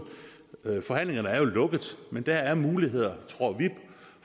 forhandlingerne er jo lukket men der er muligheder